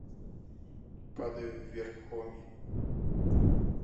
падаю вверх хоми